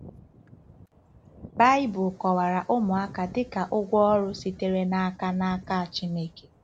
Baịbụl kọwara ụmụaka dị ka “ụgwọ ọrụ” sitere n’aka n’aka Chineke.